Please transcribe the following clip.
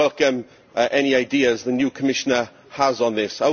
I would welcome any ideas the new Commissioner has on this.